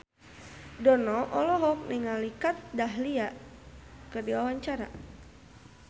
Dono olohok ningali Kat Dahlia keur diwawancara